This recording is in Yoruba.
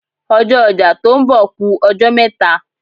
Ọjọ́ ọjà tó ń bọ̀ ku ọjọ́ mẹ́ta.